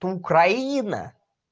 то украина